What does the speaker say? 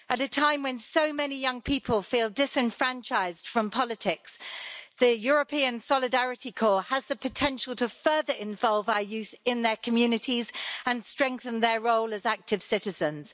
At a time when so many young people feel disenfranchised from politics, the European Solidarity Corps has the potential to further involve our youth in their communities and strengthen their role as active citizens.